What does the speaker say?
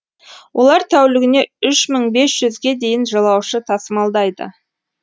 олар тәулігіне үш мың бес жүзге дейін жолаушы тасымалдайды